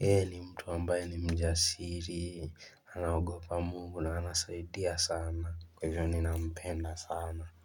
ye ni mtu ambaye ni mjasiri anaogopa Mungu na anasaidia sana Kwa hivyo ni na mpenda sana.